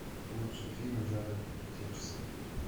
лучший фильм жанра приключенческий